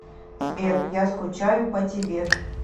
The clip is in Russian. сбер я скучаю по тебе